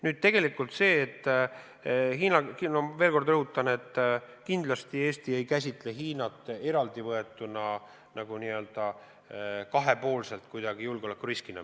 Nüüd, ma veel kord rõhutan, et kindlasti Eesti ei käsitle Hiinat eraldivõetuna, nagu kuidagi kahepoolselt, meile julgeolekuriskina.